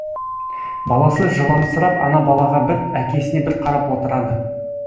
баласы жыламсырап ана балаға бір әкесіне бір қарап отырады